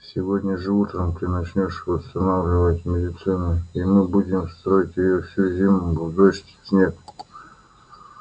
сегодня же утром мы начнём восстанавливать мельницу и мы будем строить её всю зиму в дождь и в снег